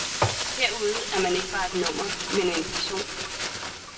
Herude er man ikke bare et nummer, men en person.